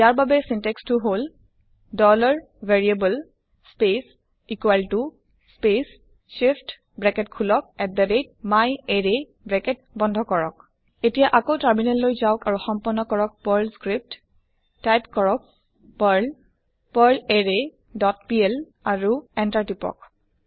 ইয়াৰ বাবে বাক্যবিন্যাস টো হল160 variable space space shift open bracket myArray close bracket এতিয়া আকৌ টাৰ্মিনেল লৈ যাওক আৰু সম্পন্ন কৰক পাৰ্ল স্ক্ৰিপ্ট টাইপ কৰক পাৰ্ল পাৰ্লাৰৰে ডট পিএল আৰু Enter কৰক